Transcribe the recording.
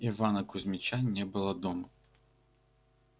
ивана кузмича не было дома